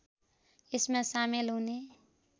यसमा सामेल हुने